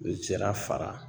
Zira fara